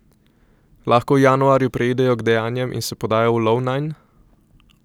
Lahko v januarju preidejo k dejanjem in se podajo v lov nanj?